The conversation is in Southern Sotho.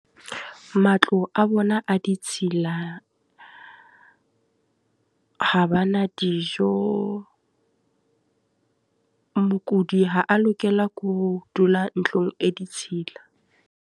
Matlo a bona a ditshila, ha bana dijo. Mokudi ha a lokela ke ho dula ntlong e ditshila.